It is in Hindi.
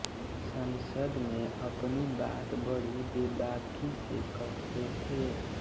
संसद में अपनी बात बड़ी बेबाकी से कहते थे